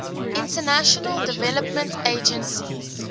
international development agency